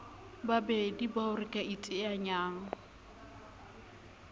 babedi bao re ka iteanyang